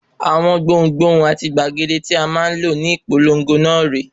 Awọn gbohùn-gbohùn àti gbàgede tí a máa lò ní ìpolongo náà rè é.